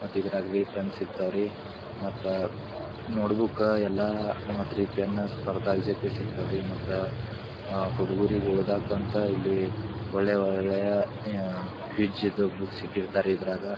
ಮತ್ತೆ ಇದರಗ ರಿ ಪೆನ್ ಸಿಕ್ತವೆ ರೀ ಮತ್ತೆ ನೋಟ್ಬುಕ್ ಯಲ್ಲ ಮತ್ತಿ ರೀ ಪೆನ್ ಸ್ಪರ್ದಾವಿಜೇತ ಸಿಗ್ತಾವರಿ ಮತ್ತೆ ಹುಡುಗೂರು ಓದಕ್ಕೆ ಅಂತ ಇಲ್ಲಿ ಒಳ್ಳೆ ಒಳ್ಳೆ ಕ್ವಿಜ್ ಬುಕ್ ಇಟ್ಟಿರ್ತಾರೆ ಇದ್ರಾಗ ಎಲ್ಲಾ ಇರ್ತವ್ರಿ ಬುಕ್ ಸ್ಟಾಲ್ ದಾಗರಿ.